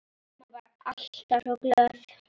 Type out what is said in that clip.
Amma var alltaf svo glöð.